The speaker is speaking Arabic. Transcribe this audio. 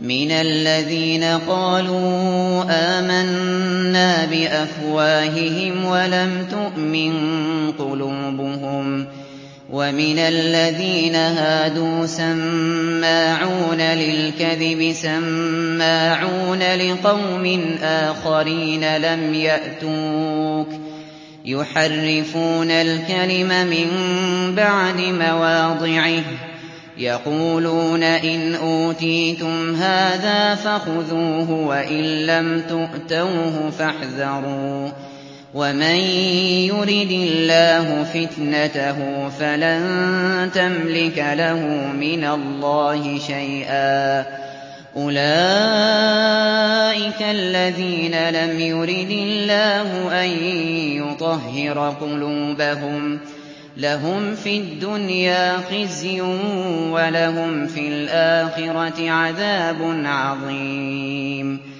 مِنَ الَّذِينَ قَالُوا آمَنَّا بِأَفْوَاهِهِمْ وَلَمْ تُؤْمِن قُلُوبُهُمْ ۛ وَمِنَ الَّذِينَ هَادُوا ۛ سَمَّاعُونَ لِلْكَذِبِ سَمَّاعُونَ لِقَوْمٍ آخَرِينَ لَمْ يَأْتُوكَ ۖ يُحَرِّفُونَ الْكَلِمَ مِن بَعْدِ مَوَاضِعِهِ ۖ يَقُولُونَ إِنْ أُوتِيتُمْ هَٰذَا فَخُذُوهُ وَإِن لَّمْ تُؤْتَوْهُ فَاحْذَرُوا ۚ وَمَن يُرِدِ اللَّهُ فِتْنَتَهُ فَلَن تَمْلِكَ لَهُ مِنَ اللَّهِ شَيْئًا ۚ أُولَٰئِكَ الَّذِينَ لَمْ يُرِدِ اللَّهُ أَن يُطَهِّرَ قُلُوبَهُمْ ۚ لَهُمْ فِي الدُّنْيَا خِزْيٌ ۖ وَلَهُمْ فِي الْآخِرَةِ عَذَابٌ عَظِيمٌ